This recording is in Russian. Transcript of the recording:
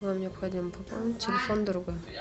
вам необходимо пополнить телефон друга